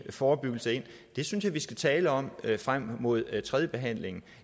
forebyggelse ind synes jeg vi skal tale om det frem mod tredjebehandlingen